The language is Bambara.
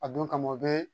A don kama o bɛ